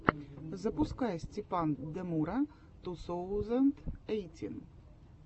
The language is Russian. запускай степандемура ту соузэнд эйтин